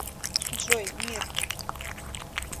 джой мир